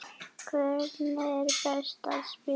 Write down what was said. Hvernig er best að spila?